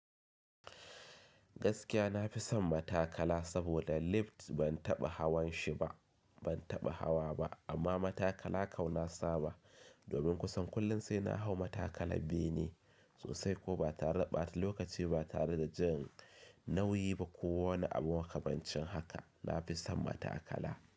Gaskiya na fi son matakala saboda lift ban taɓa hawan shi ba, ban taɓa hawa ba, amma matakala kau na saba. Domin kusan kullum sai na hau matakala bene sosai ko ba tare ɓata lokaci ba tare da jan nauyi ba ko wani abu makamancin haka. Na fi son matakala.